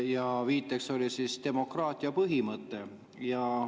Ja viide oli demokraatia põhimõte.